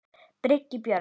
Birgir Björn